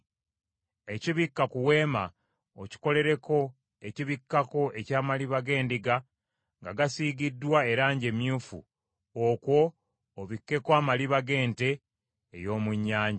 Ekibikka ku Weema okikolereko ekibikkako eky’amaliba g’endiga nga gasiigiddwa erangi emyufu, okwo obikkeko amaliba g’ente ey’omu nnyanja.